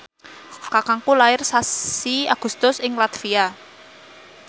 kakangku lair sasi Agustus ing latvia